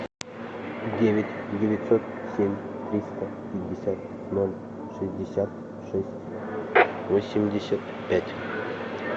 девять девятьсот семь триста пятьдесят ноль шестьдесят шесть восемьдесят пять